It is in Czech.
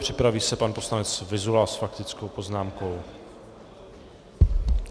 Připraví se pan poslanec Vyzula s faktickou poznámkou.